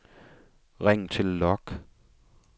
ring til log